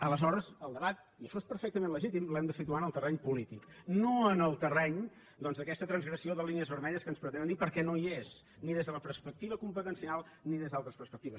aleshores el debat i això és perfectament legítim l’hem de situar en el terreny polític no en el terreny doncs d’aquesta transgressió de línies vermelles que vostès pretenen perquè no hi és ni des de la perspectiva competencial ni des d’altres perspectives